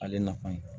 Ale nafa ye